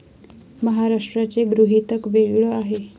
महाराष्ट्राचे गृहीतक वेगळं आहे.